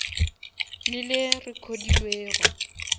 le le recodilwego